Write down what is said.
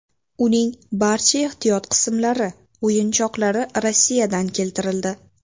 Uning barcha ehtiyot qismlari, o‘yinchoqlari Rossiyadan keltirildi.